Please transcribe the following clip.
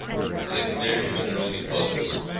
secondary mineral deposits